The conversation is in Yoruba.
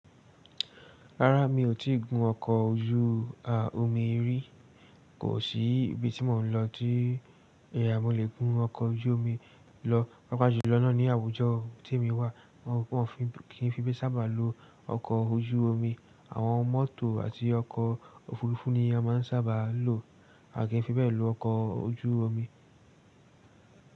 Rárá mi ò tí ì gun ọkọ̀ ojú a, omi rí. Kò sí ibi tí mò ń lọ tí mò lè gùn ọkọ ojú omi lọ. Pápá jùlọ̀ náà ní àwùjọ tí emi wà wọn ò kí n fi bẹ sábà lo ọkọ̀ ojú omi. Àwọn mọ́tò àti ọkọ̀ òfuurufú ni a máa ń sábà lo. À kí n fi bẹ́ẹ̀ lo ọkọ̀ ojú omi?